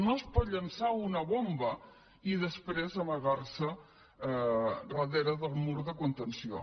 no es pot llançar una bomba i després amargar se darrere del mur de contenció